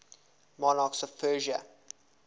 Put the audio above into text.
monarchs of persia